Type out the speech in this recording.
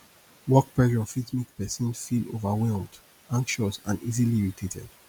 work pressure fit make person feel overwhelmed anxious and easily irritated